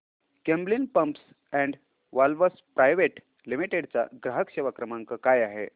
Camlin pumps and valves private limited चा ग्राहक सेवा क्रमांक काय आहे